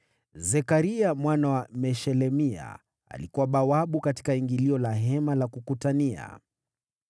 Zekaria mwana wa Meshelemia alikuwa bawabu katika ingilio la Hema la Kukutania.